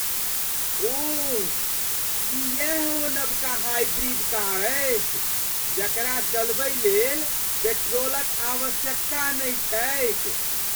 ओह! की यैह ओ नबका हाइब्रिड कार अछि जकरा चलबय लेल पेट्रोलक आवश्यकता नहि छैक?